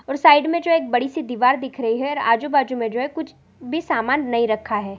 और साइड मे जो एक बडी सी दीवार दिख रही है और आजु-बाजु मे कुछ भी सामान नहीं रखा है।